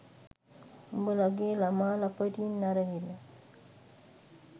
උඹලගේ ළමා ලපටින් අරගෙන